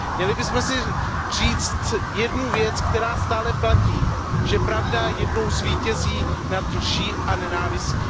Měli bychom si říci jednu věc, která stále platí, že pravda jednou zvítězí nad lží a nenávistí.